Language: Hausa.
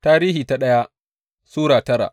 daya Tarihi Sura tara